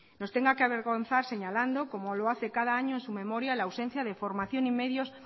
nos tenga que avergonzar señalando como lo hace cada año en su memoria la ausencia de formación y medios